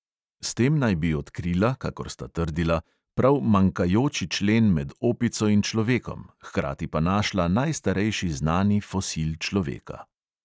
S tem naj bi odkrila, kakor sta trdila, prav manjkajoči člen med opico in človekom, hkrati pa našla najstarejši znani fosil človeka.